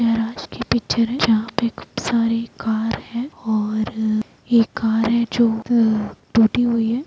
ये रात की पिक्चर है जहां पे खूब सारे कार है और एक कार है जो हुई है।